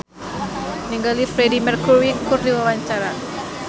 Lydia Kandou olohok ningali Freedie Mercury keur diwawancara